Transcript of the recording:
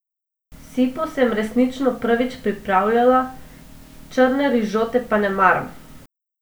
Sipo sem resnično prvič pripravljala, črne rižote pa ne maram.